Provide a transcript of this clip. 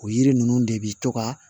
O yiri ninnu de bi to ka